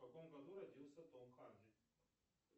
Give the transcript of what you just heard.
в каком году родился том харди